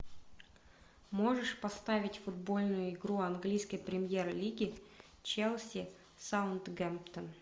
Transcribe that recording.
можешь поставить футбольную игру английской премьер лиги челси саутгемптон